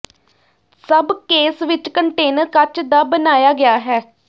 ਸਭ ਕੇਸ ਵਿੱਚ ਕੰਟੇਨਰ ਕੱਚ ਦਾ ਬਣਾਇਆ ਗਿਆ ਹੈ